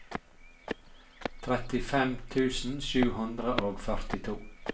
trettifem tusen sju hundre og førtito